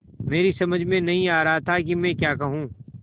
मेरी समझ में नहीं आ रहा था कि मैं क्या कहूँ